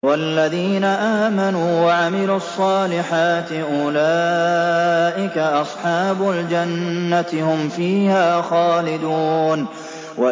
وَالَّذِينَ آمَنُوا وَعَمِلُوا الصَّالِحَاتِ أُولَٰئِكَ أَصْحَابُ الْجَنَّةِ ۖ هُمْ فِيهَا خَالِدُونَ